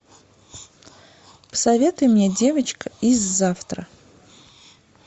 посоветуй мне девочка из завтра